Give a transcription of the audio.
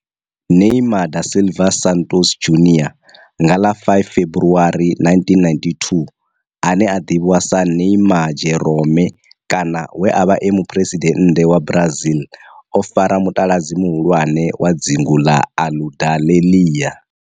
Neymar da Silva Santos Junior nga ḽa 5 February 1992, ane a ḓivhiwa sa Neymar Jeromme kana we a vha e muphuresidennde wa Brazil o fara mutaladzi muhulwane wa dzingu na Aludalelia.